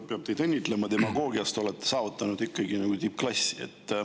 Peab teid õnnitlema, demagoogias te olete saavutanud ikkagi tippklassi.